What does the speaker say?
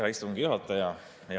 Hea istungi juhataja!